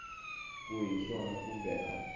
ku hi swona kumbe a